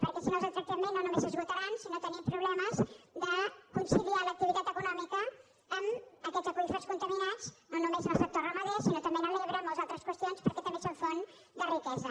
perquè si no els tractem bé no només s’esgotaran sinó que tindrem problemes de conciliar l’activitat econòmica amb aquests aqüífers contaminats no només en el sector ramader sinó també a l’ebre moltes altres qüestions perquè també són font de riquesa